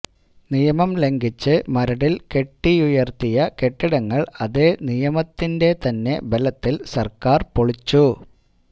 നിയമം ലംഘിച്ച് മരടിൽ കെട്ടിയുയർത്തിയ കെട്ടിടങ്ങൾ അതേ നിയമത്തിന്റെതന്നെ ബലത്തിൽ സർക്കാർ പൊളിച്ചു